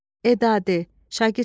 E ədadır.